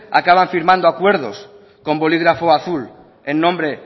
acaban firmando acuerdos con bolígrafo azul en nombre